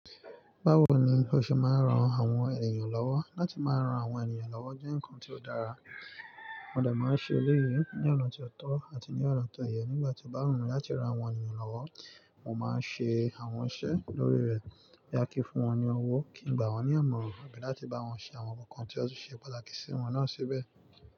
Báwo ni o ṣe máa rán àwọn ènìyàn lọ́wọ́? Láti máa rán àwọn ènìyàn lọ́wọ́ jẹ́ ǹkan tí ó dára, Mo de máa ń ṣe eleyìí ní ọ̀nà tí ó tọ́ àti ní ọ̀nà tó ye. Nígbà tí o bá wun mi láti rán àwọn ènìyàn lọ́wọ́, mo máa ń ṣe àwọn iṣẹ́ lórí rẹ̀ boya kí fún wọn ní owó, kí gbà wọ́n ní ìmọ̀ràn àbí láti bá wọn ṣe àwọn nǹkan tí ó ṣe pàtàkì sí wọn náà síbẹ̀